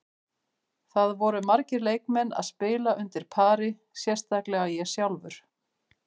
Það voru margir leikmenn að spila undir pari, sérstaklega ég sjálfur.